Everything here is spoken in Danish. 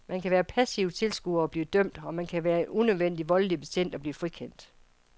Man kan være passiv tilskuer og blive dømt, og man kan være en unødvendig voldelig betjent og blive frikendt.